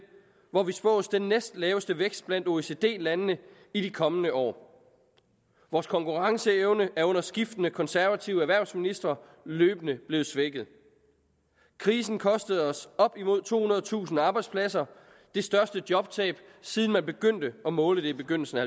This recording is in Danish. hvor vi spås den næstlaveste vækst blandt oecd landene i de kommende år vores konkurrenceevne er under skiftende konservative erhvervsministre løbende blevet svækket krisen kostede os op imod tohundredetusind arbejdspladser det største jobtab siden man begyndte at måle det i begyndelsen af